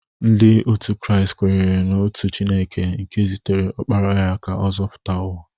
Ndị otu Kraịst kwenyere n'otu Chineke nke zitere Ọkpara ya ka ọ zọpụta ụwa.